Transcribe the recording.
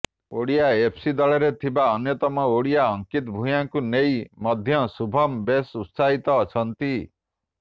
Odisha FC ଦଳରେ ଥିବା ଅନ୍ୟତମ ଓଡ଼ିଆ ଅଙ୍କିତ ଭୂୟାଁଙ୍କୁ ନେଇ ମଧ୍ୟ ଶୁଭମ୍ ବେଶ୍ ଉତ୍ସାହିତ ଅଛନ୍ତି